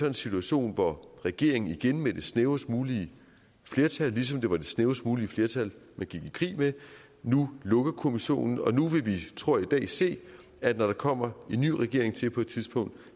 en situation hvor regeringen igen med det snævrest mulige flertal ligesom det var det snævrest mulige flertal man gik i krig med nu lukker kommissionen og nu vil vi tror jeg i dag se at når der kommer en ny regering til på et tidspunkt